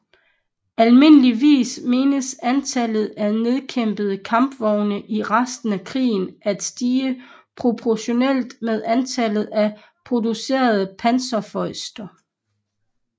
Almindeligvis menes antallet af nedkæmpede kampvogne i resten af krigen at stige proportionalt med antallet af producerede Panzerfäuste